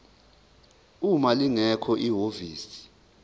uma lingekho ihhovisi